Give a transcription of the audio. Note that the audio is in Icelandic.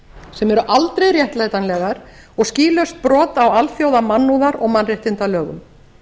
sem eru aldrei réttlætanlegar og skýlaust brot á alþjóðamannúðar og mannréttindalögum